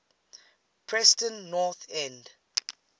preston north end